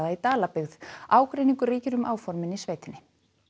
í Dalabyggð ágreiningur ríkir um áformin í sveitinni